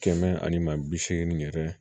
Kɛmɛ ani maa bi seegin yɛrɛ